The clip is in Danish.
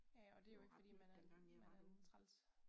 Det var ret nyt dengang jeg var derude